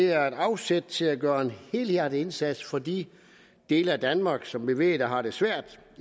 er et afsæt til at gøre en helhjertet indsats for de dele af danmark som vi ved har det svært